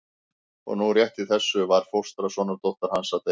Og nú rétt í þessu var fóstra sonardóttur hans að deyja.